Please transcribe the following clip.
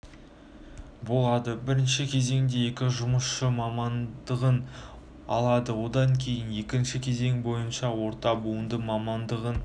болады бірінші кезеңде екі жұмысшы мамандығын алады одан кейін екінші кезең бойынша орта буынды мамандығын